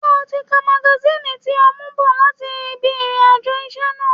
Ṣé o ti ka magasíìnì tí o mú bọ̀ láti ibi ìrìn àjò iṣẹ́ náà?